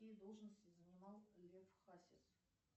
какие должности занимал лев хасис